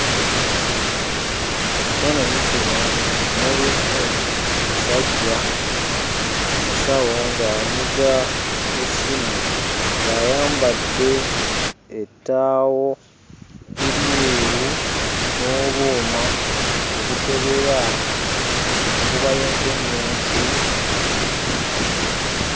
Mu kifaananyi kino mulimu omusajja omusawo ng'anyiga essimu ng'ayambadde ettaawo eryeru n'obuuma obukebera enkuba y'entunnunsi.